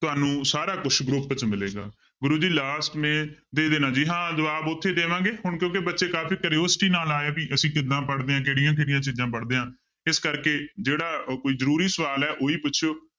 ਤੁਹਾਨੂੰ ਸਾਰਾ ਕੁਛ group 'ਚ ਮਿਲੇਗਾ ਗੁਰੂ ਜੀ last ਮੇ ਦੇ ਦੇਣਾ ਜੀ, ਹਾਂ ਜਵਾਬ ਉੱਥੇ ਦੇਵਾਂਗੇ ਹੁਣ ਕਿਉਂਕਿ ਬੱਚੇ ਕਾਫ਼ੀ curiosity ਨਾਲ ਆਏ ਵੀ ਅਸੀਂ ਕਿੱਦਾਂ ਪੜ੍ਹਦੇ ਹਾਂ, ਕਿਹੜੀਆਂ ਕਿਹੜੀਆਂ ਚੀਜ਼ਾਂ ਪੜ੍ਹਦੇ ਹਾਂ ਇਸ ਕਰਕੇ ਜਿਹੜਾ ਕੋਈ ਜ਼ਰੂਰੀ ਸਵਾਲ ਹੈ ਉਹੀ ਪੁੱਛਿਓ